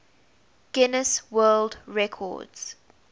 guinness world records